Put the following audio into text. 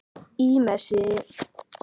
Í messi.